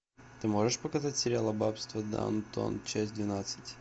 ты можешь показать сериал аббатство даунтон часть двенадцать